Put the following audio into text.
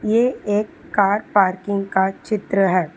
ये एक car parking का चित्र है।